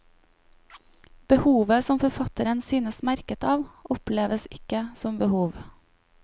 Behovet som forfatteren synes merket av, oppleves ikke som behov.